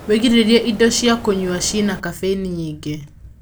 wĩgirĩrĩrie indo cia kũnyua ciĩna caffein nyingĩ